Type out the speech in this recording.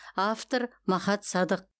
автор махат садық